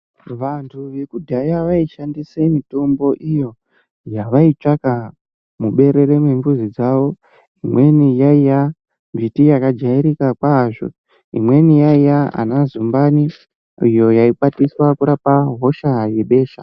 Vantu vekudhaya vaishandisa mitombo iyo yavaitsvaka muberere rembuzi dzavo imweni yaiva miti yakajairika yambo imweni yaiva ana zumbani iyo yaikwatiswa kurapa hosha yebesha.